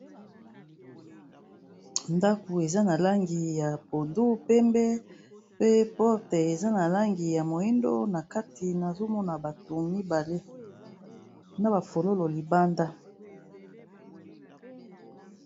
Ndako eza na langi ya pondu pembe pe porte eza na langi ya moyindo na kati nazomona bato mibale na bafololo libanda.